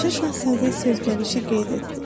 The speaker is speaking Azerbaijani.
Balaca Şahzadə sözgəlişi qeyd etdi.